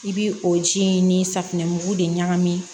I bi o ji in ni safinɛmugu de ɲagami